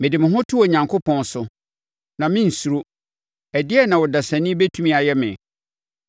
mede me ho to Onyankopɔn so; na merensuro. Ɛdeɛn na ɔdasani bɛtumi ayɛ me?